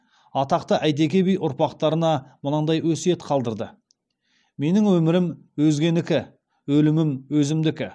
атақты әйтеке би ұрпақтарына мынадай өсиет қалдырды менің өмірім өзгенікі өлімім өзімдікі